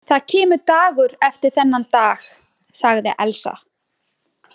Það kemur dagur eftir þennan dag, sagði Elsa.